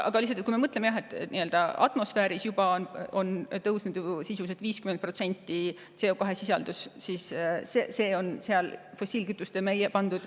Aga kui me mõtleme sellele, et atmosfääris on CO2 sisaldus juba sisuliselt tõusnud 50%, siis selle oleme meie fossiilkütuste sinna lisanud.